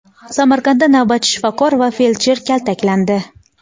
Samarqandda navbatchi shifokor va feldsher kaltaklandi.